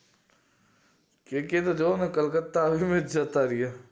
કે કે તો જોવ ને kolkata હોઘી ને જ જતા રીએ